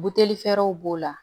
Buteli fɛrɛw b'o la